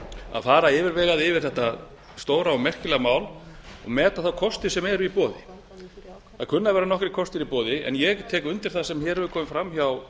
að fara yfirvegað yfir þetta stóra og merkilega mál og meta þá kosti sem eru í boði það kunna að vera nokkrir kostir í boði en ég tek undir það sem hér hefur komið fram hjá